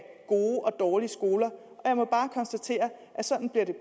dårlige skoler jeg må bare konstatere at sådan bliver det